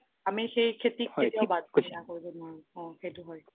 আমি সেই খেতিক কেতিয়াও বাদ অ সেইটো হয়